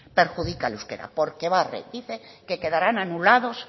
perjudica al euskera porque barre dice que quedarán anulados